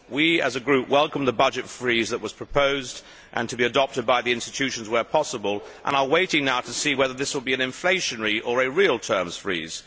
We as a Group welcome the budget freeze that was proposed, to be adopted by the institutions where possible, and are waiting now to see whether this will be an inflationary or a real terms freeze.